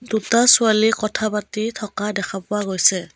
দুটা ছোৱালী কথা পাতি থকা দেখা পোৱা গৈছে।